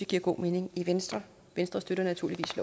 giver god mening venstre venstre støtter naturligvis